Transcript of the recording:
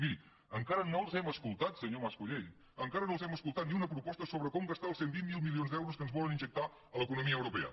miri encara no els hem escoltat senyor mas colell encara no els hem escoltat ni una proposta sobre com gastar els cent i vint miler milions d’euros que ens volen injectar l’economia europea